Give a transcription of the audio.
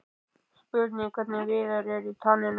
Spurning hvernig Viðar er í taninu?